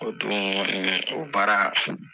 O dun o baara